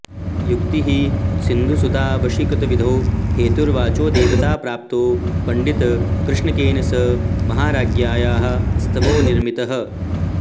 युक्तिः सिन्धुसुतावशीकृतिविधौ हेतुर्वचोदेवताप्राप्तौ पण्डितकृष्णकेन स महाराज्ञ्याः स्तवो निर्मितः